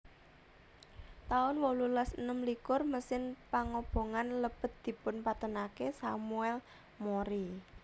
taun wolulas enem likur Mesin pangobongan lebet dipun patènaken Samuel Mori